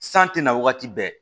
San tɛna wagati bɛɛ